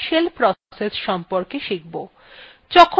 প্রথমে আমারা shell process সম্বন্ধে শিখব